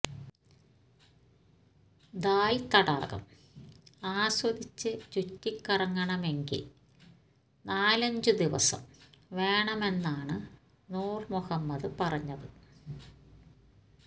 ദാല് തടാകം ആസ്വദിച്ചു ചുറ്റിക്കറങ്ങണമെങ്കില് നാലഞ്ചു ദിവസം വേണമെന്നാണ് നൂര് മുഹമ്മദ് പറഞ്ഞത്